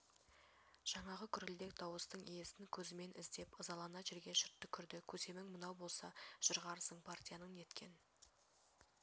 жаңағы гүрілдек дауыстың иесін көзкмен іздеп ызалана жерге шырт түкірді көсемің мынау болса жырғарсың партияның неткен